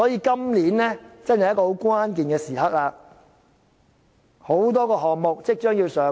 今年是關鍵時刻，因為很多項目即將上馬。